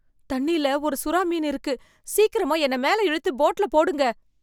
தண்ணியில ஒரு சுறா மீன் இருக்கு, சீக்கிரமா என்னை மேல இழுத்து போட்ல போடுங்க.